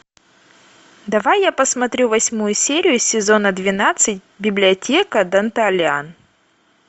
давай я посмотрю восьмую серию сезона двенадцать библиотека данталиан